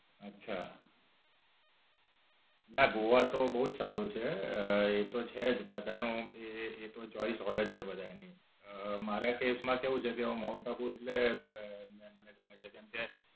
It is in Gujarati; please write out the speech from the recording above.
અચ્છા, ના ગોવા તો બોવ જ સારું છે એ તો છે જ but એનું એ એ તો choice હોય જ છે બધાની મારા કેસ માં કેવું છે કે હું માઉન્ટ આબુ એટલે અ મને ગમે છે કેમકે